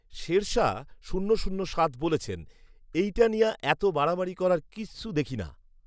শেরশাহ শূন্য শূন্য সাত বলেছেন, এই টা নিয়া এতও বারাবারি করার কিসু দেখি নাহ